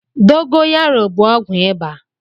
Dogoyaro bụ ọgwụ ịba.